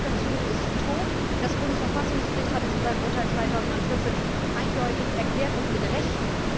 Diese Argumentation ist tot. Das Bundesverfassungsgericht hat es in seinem Urteil 2014 eindeutig erklärt, und das mit Recht.